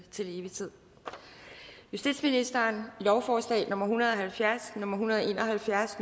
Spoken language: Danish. til evig tid justitsministeren lovforslag nummer l en hundrede og halvfjerds lovforslag l en hundrede og en og halvfjerds